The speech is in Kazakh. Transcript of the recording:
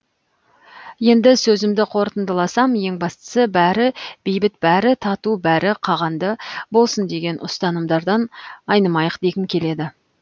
енді сөзімді қорытындыласам ең бастысы бәрі бейбіт бәрі тату бәрі қағанды болсын деген ұстанымдардан айнымайық дегім келеді